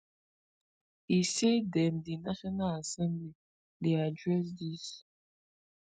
e say dem di national assembly dey address dis